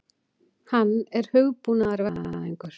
Hann er hugbúnaðarverkfræðingur.